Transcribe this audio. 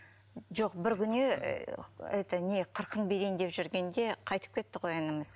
жоқ бір күні это не қырқын берейін деп жүргенде қайтып кетті ғой ініміз